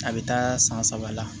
A bɛ taa san saba la